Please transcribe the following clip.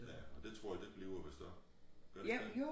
Ja og det tror jegd et bliver vist også gør det ikke dét?